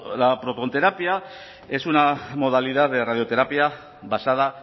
la protonterapia es una modalidad de radioterapia basada